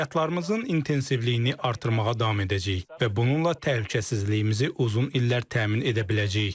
Əməliyyatlarımızın intensivliyini artırmağa davam edəcəyik və bununla təhlükəsizliyimizi uzun illər təmin edə biləcəyik.